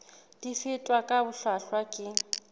di fetwa ka bohlwahlwa ke